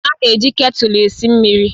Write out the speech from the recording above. A na-eji ketulu esi mmiri